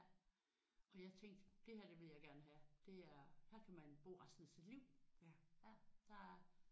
Og jeg tænkte det her det vil jeg gerne have. Det er her kan man bo resten af sit liv ja der